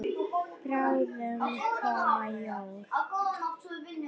Bráðum koma jól.